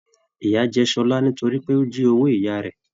Ìya jẹ Ṣọlá nítorí pé o jí owó ìyá rẹ.